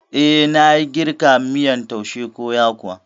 Eh, nayi girka miyan taushe ko yakuwa